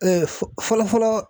fɔ fɔlɔ-fɔlɔ